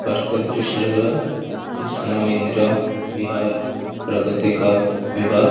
park का दृश्य लग रहा जिसका नाम हैं इंद्रा बिहार प्रगति का विभाग--